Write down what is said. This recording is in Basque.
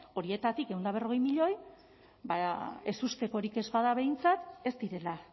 horietatik ehun eta berrogei milioi ezustekorik ez bada behintzat ez direla